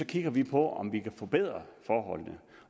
kigger vi på om vi kan forbedre forholdene